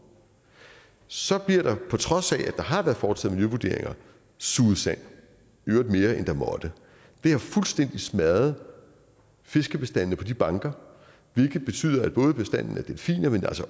så bliver der på trods af at der har været foretaget miljøvurderinger suget sand i øvrigt mere end man må det har fuldstændig smadret fiskebestandene på de banker hvilket betyder noget for bestanden af delfiner men